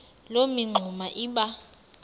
loo mingxuma iba